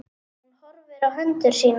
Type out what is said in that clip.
Hún horfir á hendur sínar.